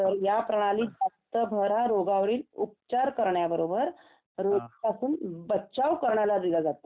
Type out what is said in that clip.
तर या प्रणालीत फक्तं रोगावरील उपचार करण्याबरोबर रोगापासून बचाव करण्यावर भर दिला जातो